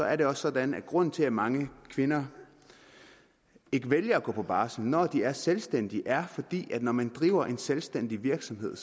er det også sådan at grunden til at mange kvinder ikke vælger at gå på barsel når de er selvstændige er at når man driver en selvstændig virksomhed